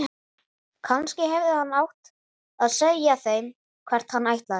Kannski hefði hann átt að segja þeim hvert hann ætlaði.